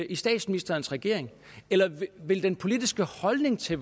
i statsministerens regering eller ville den politiske holdning til